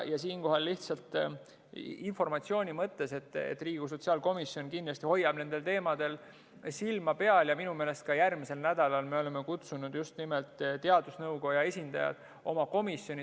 Siinkohal lihtsalt informatsiooni mõttes, et Riigikogu sotsiaalkomisjon kindlasti hoiab nendel teemadel silma peal ja minu meelest ka järgmisel nädalal me oleme kutsunud teadusnõukoja esindajad oma komisjoni.